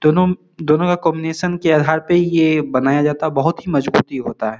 दोनों दोनों के कॉम्बिनेशन के आधार पर ये बनाया जाता है बहुत ही मजबूती होता है।